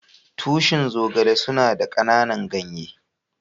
Tushin Zogale suna da kananan ganye.